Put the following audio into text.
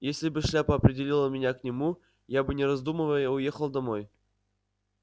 если бы шляпа определила меня к нему я бы не раздумывая уехал домой